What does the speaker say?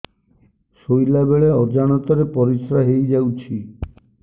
ଶୋଇଲା ବେଳେ ଅଜାଣତ ରେ ପରିସ୍ରା ହେଇଯାଉଛି